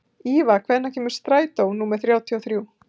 Íva, hvenær kemur strætó númer þrjátíu og þrjú?